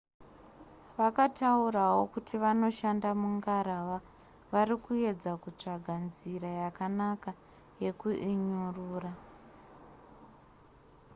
vakataurawo kuti vanoshanda mungarava vari kuedza kutsvaga nzira yakanaka yekuinyurura